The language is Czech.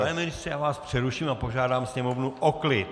Pane ministře, já vás přeruším a požádám sněmovnu o klid!